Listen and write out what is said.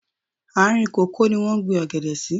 Àárìn kòkó ní wọ́n gbín ọ̀gẹ̀dẹ̀ sí.